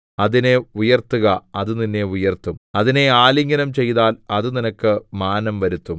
അതിനെ ഉയർത്തുക അത് നിന്നെ ഉയർത്തും അതിനെ ആലിംഗനം ചെയ്താൽ അത് നിനക്ക് മാനം വരുത്തും